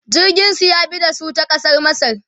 jirgin su ya bi da su ta kasar masar